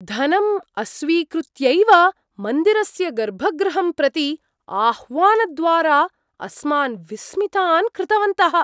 धनं अस्वीकृत्यैव मन्दिरस्य गर्भगृहं प्रति आह्वानद्वारा अस्मान् विस्मितान् कृतवन्तः।